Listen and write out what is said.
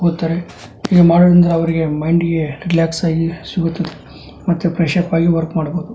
ಹೋಗುತ್ತಾರೆ ಹೀಗೆ ಮಾಡುವುದರಿಂದ ಅವರಿಗೆ ಮಂದಿಗೆ ರಿಲ್ಯಾಕ್ಸ್ ಆಗಿ ಸಿಗುತ್ತದೆ ಮತ್ತೆ ಫ್ರೆಶ್ ಅಪ್ ಆಗಿ ವರ್ಕ್ ಮಾಡಬಹುದು.